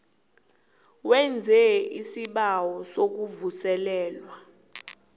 wenze isibawo sokuvuselelwa